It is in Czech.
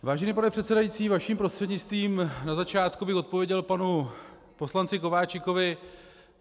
Vážený pane předsedající, vaším prostřednictvím na začátku bych odpověděl panu poslanci Kováčikovi.